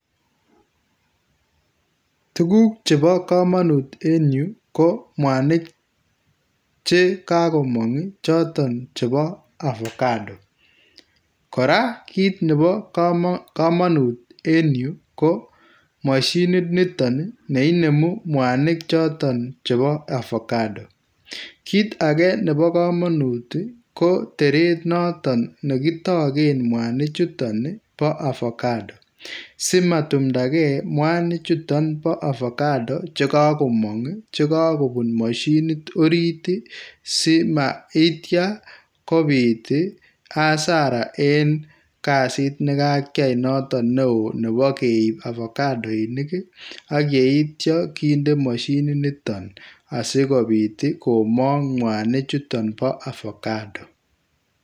Tukuk chebo kamanut en yu, ko mwanik che kakomong ii choton chebo avocado , kora kiit nebo kamanut en yu ko mashinit niton neinemu mwanik choton chebo avocado, kiit ake nebo kamanut ii ko teret noton ne kitoken mwanichuton ii bo avocado, si matumdakei mwanichuton bo avocado che kakomong che kakobun mashinit orit ii, si maitya kobit ii hasara en kazit ne kakyai noton ne oo nebo keip avocadoinik ii, ak yeityo kinde mashininiton asi kobit komong mwanichuton bo avocado.